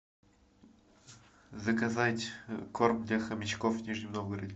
заказать корм для хомячков в нижнем новгороде